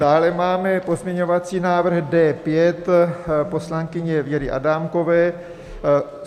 Dále máme pozměňovací návrh D5 poslankyně Věry Adámkové.